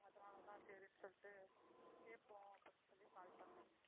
அதனால தான் சரின்னு சொல்லிட்டு கேட்போம் அப்படின்னு சொல்லி call பண்ணேன்.